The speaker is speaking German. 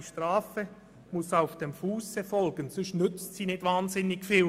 «Die Strafe muss auf dem Fusse folgen», denn sonst nützt sie nicht wirklich viel.